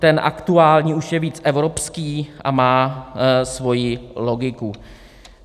Ten aktuální je už víc evropský a má svoji logiku.